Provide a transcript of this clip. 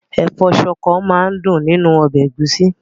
Ẹ̀fọ́ ṣọkọ máa dùn nínú ọbẹ̀ ẹ̀gúsí.